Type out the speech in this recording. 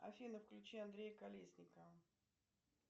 афина включи андрея колесникова